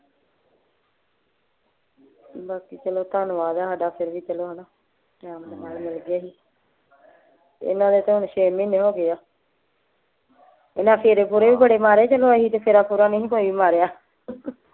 ਬਾਕੀ ਚਲੋ ਧੰਨਵਾਦ ਆ ਸਾਡਾ ਫੇਰ ਵੀ ਚਲੋ ਹਣਾ ਟਾਈਮ ਦੇ ਨਾਲ ਮਿਲ ਗਏ ਸੀ ਇਹਨਾਂ ਦੇ ਤਾਂ ਹੁਣ ਛੇ ਮਹੀਨੇ ਹੋ ਗਏ ਆ ਇਹਨਾਂ ਫੇਰੇ ਫੁਰੇ ਵੀ ਬੜੇ ਮਾਰੇ ਚਲੋ ਅਸੀਂ ਤੇ ਤੇ ਫੇਰਾ ਫੁਰਾ ਨਹੀਂ ਕੋਈ ਮਾਰਿਆ